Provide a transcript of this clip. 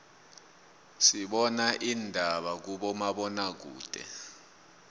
sibana indaba kuma bona kude